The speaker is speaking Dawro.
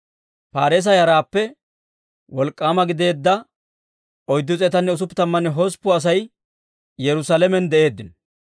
Paareesa yaraappe wolk'k'aama gideedda 468 asatuu Yerusaalamen de'eeddino.